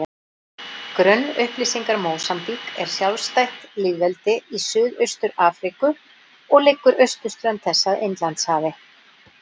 Grunnupplýsingar Mósambík er sjálfstætt lýðveldi í Suðaustur-Afríku og liggur austurströnd þess að Indlandshafi.